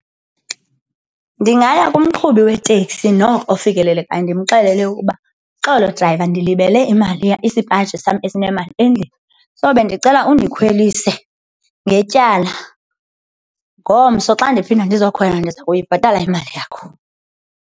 Ndingaya kumqhubi weteksi noko ofikelelekayo ndimxelele ukuba, xolo drayiva ndilibele imali isipaji sam esinemali endlini. So, bendicela undikhwelise ngetyala. Ngomso xa ndiphinda ndizowukhwela ndiza kuyibhatala imali yakho.